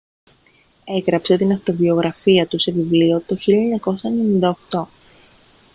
έγραψε την αυτοβιογραφία του σε βιβλίο το 1998